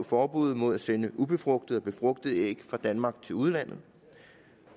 forbuddet mod at sende ubefrugtede og befrugtede æg fra danmark til udlandet